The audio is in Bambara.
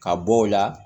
Ka bɔ o la